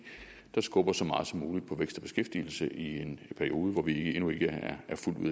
der skubber så meget som muligt på vækst og beskæftigelse i en periode hvor vi endnu ikke er